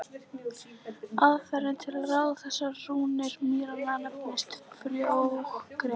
Aðferðin til að ráða þessar rúnir mýranna nefnist frjógreining.